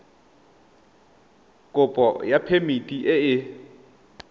kopo ya phemiti e e